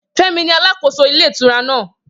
Femi ni alàkóso ilé ìtura náà